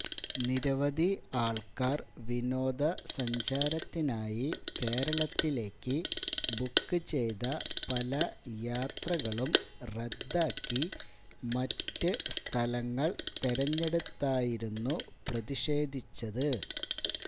നിരവധി ആള്ക്കാര് വിനോദ സഞ്ചാരത്തിനായി കേരളത്തിലേക്ക് ബുക്ക് ചെയ്ത പല യാത്രകളും റദ്ദാക്കി മറ്റു സ്ഥലങ്ങള് തെരഞ്ഞെടുത്തായിരുന്നു പ്രതിഷേധിച്ചത്